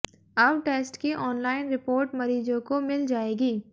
अब टेस्ट की online report मरीजों को मिल जाएगी